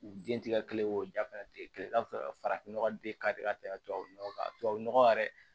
U den ti ka kelen o ja fɛnɛ sɔrɔ farafin nɔgɔ de ka di ka tɛmɛ tubabu nɔgɔ kan tubabu nɔgɔ yɛrɛ